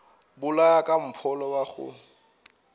bolaya ka mpholo wa go